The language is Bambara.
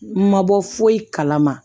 Ma bɔ foyi kalama